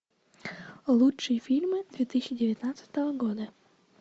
лучшие фильмы две тысячи девятнадцатого года